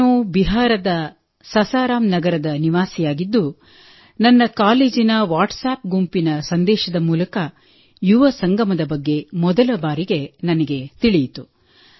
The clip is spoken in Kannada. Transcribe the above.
ನಾನು ಬಿಹಾರದ ಸಸಾರಂ ನಗರದ ನಿವಾಸಿಯಾಗಿದ್ದು ನನ್ನ ಕಾಲೇಜಿನ ವಾಟ್ಸಾಪ್ ಗುಂಪಿನ ಸಂದೇಶದ ಮೂಲಕ ಯುವ ಸಂಗಮದ ಬಗ್ಗೆ ಮೊದಲ ಬಾರಿಗೆ ನನಗೆ ತಿಳಿಯಿತು